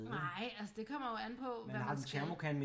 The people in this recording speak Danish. Nej altså det kommer jo an på hvad man skal